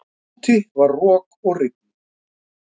Úti var rok og rigning.